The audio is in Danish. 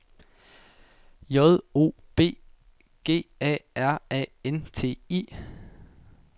J O B G A R A N T I